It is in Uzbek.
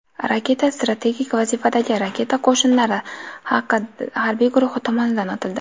Raketa strategik vazifadagi Raketa qo‘shinlari harbiy guruhi tomonidan otildi.